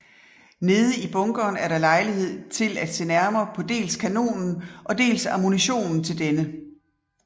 Nede i bunkeren er der lejlighed til at se nærmere på dels kanonen og dels ammunitionen til denne